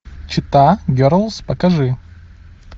чита герлз покажи